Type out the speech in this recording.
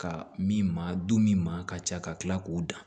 Ka min maa du min ma ka ca ka tila k'o dan